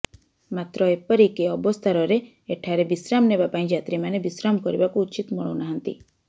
ମାତ୍ର ଏପରକି ଅବସ୍ଥାରରେ ଏଠାରେ ବିଶ୍ରାମ ନେବା ପାଇଁ ଯାତ୍ରୀ ମାନେ ବିଶ୍ରାମ କରିବାକୁ ଉଚିତ୍ ମଣୁନାହାନ୍ତି